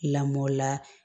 Lamɔ la